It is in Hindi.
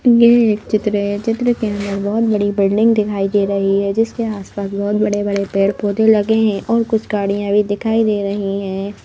ये एक चित्र है चित्र के अंदर बहोत बड़ी बिल्डिंग दिखाई दे रही है जिसके आस-पास बहोत बड़े-बड़े पेड़-पौधे लगे हैं और कुछ गाड़ियां भी दिखाई दे रही हैं।